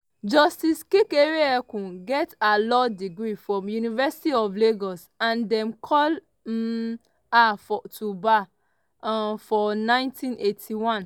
justice kekere-ekun get her law degree from university of lagos and dem call um her to bar um for 1981.